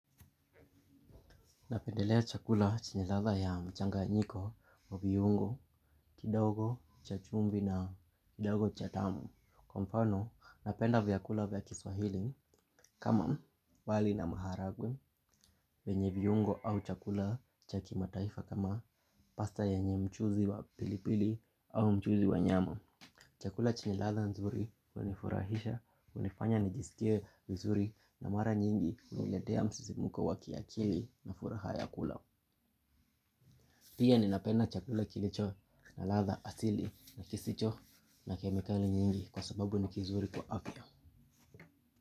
Napendelea chakula chenye ladha ya mchanganyiko wa viungo, kidogo, cha chumvi na kidogo cha damu. Kwa mfano, napenda vyakula vya Kiswahili kama wali na maharagwe vyenye viungo au chakula cha kimataifa kama pasta yenye mchuzi wa pilipili au mchuzi wa nyama. Chakula chenye ladha nzuri hunifurahisha, hunifanya nijisikie vizuri na mara nyingi huniletea msisimko wa kiakili na furaha ya kula. Pia ninapenda chakula kilicho na ladha asili na kisicho na kemikali nyingi kwa sababu ni kizuri kwa afya.